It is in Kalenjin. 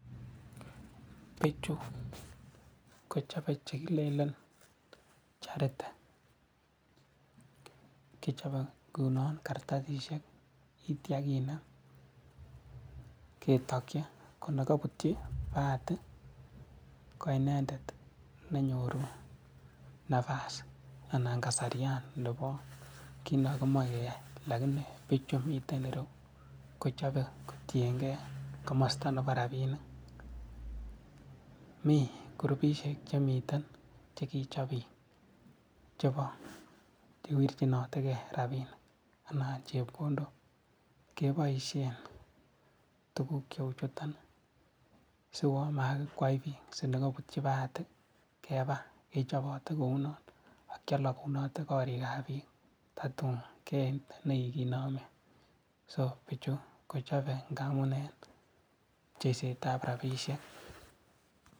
Picchu kochobe chekilelen charity kichobe ngunon kartasisiek ak kitio kinem ketokyi konekobutyi bahati koinendet nenyoru napas anan kasarian nebo kiy nekokimoche keyai. Lakini pichu miten ireyu kochobe kotiengei komosto nebo rabinik, mi kurupisiek chemiten chekichob biik chebo kiwirchonitekei rabinik anan chepkondok keboisien tuguk cheuchuton siwon makikwai biik si nekobutyi bahati keba. Kechobote kounon ak kiolokunote korikab biik totun keit nekikinomen, sopichu kochobe ngamun en pcheisetab rabisiek.